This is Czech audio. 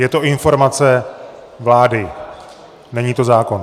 Je to informace vlády, není to zákon.